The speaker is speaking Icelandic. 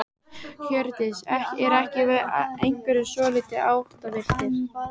Hjördís: Eru ekki einhverjir svolítið áttavilltir?